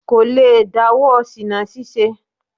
Kò lè dáwọ́ ṣìná ṣíṣe.